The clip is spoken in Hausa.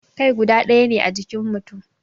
Kai guda daya ne a jikin mutum